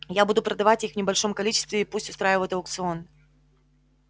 я буду продавать их в небольшом количестве и пусть устраивают аукцион